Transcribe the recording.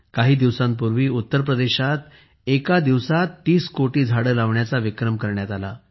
काही दिवसांपूर्वी उत्तर प्रदेशात एका दिवसात 30 कोटी झाडे लावण्याचा विक्रम करण्यात आला